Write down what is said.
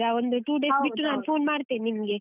ಒಂದು two days ಬಿಟ್ಟು ನಾನ್ phone ಮಾಡ್ತೇನೆ ನಿಮ್ಗೆ.